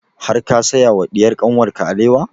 Har ka saya wa diyar kanwar ka alewa?